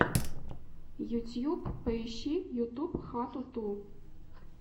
ютюб поищи ютуб хату ту